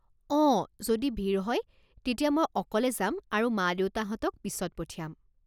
অঁ যদি ভিৰ হয় তেতিয়া মই অকলে যাম আৰু মা দেউতাহঁতক পিছত পঠিয়াম।